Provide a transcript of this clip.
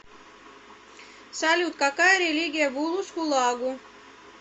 салют какая религия в улус хулагу